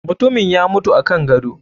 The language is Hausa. Mutumin ya mutu akan gado.